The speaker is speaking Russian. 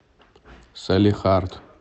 салехард